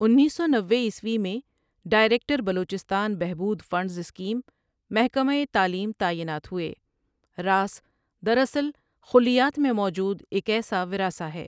انیس سو نوے عیسوی میں ڈائریکٹر بلوچستان بہبود فنڈز سکیم، محکمہ تعلیم تعینات ہوئے، راس دراصل خلیات میں موجود ایک ایسا وراثہ ہے ۔